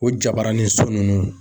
O jabaranin so ninnu